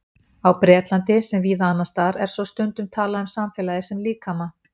Á Bretlandi, sem víða annars staðar, er svo stundum talað um samfélagið sem líkama.